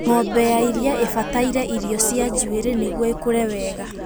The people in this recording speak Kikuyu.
Ngombe ya iria ĩbataire irio cana njuĩrĩ nĩguo ikũre wega